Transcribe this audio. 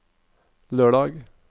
lørdag